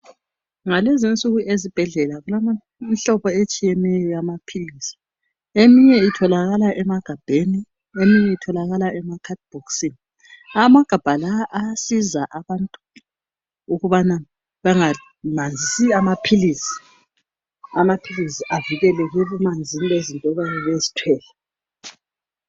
Ngalezinsuku ezibhedlela kulemihlobo etshiyeneyo eyamapills eminye itholakala emagabheni eminye itholakala emacard bhokisini amagabha lawa ayasiza abantu ukubana bengamanzisi amapills amapills evikeleke ebumanzini bezinto oyabe uzithwele